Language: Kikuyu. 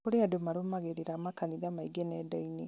kũrĩ andũ marũmagĩrĩra makanitha maingĩ nendainĩ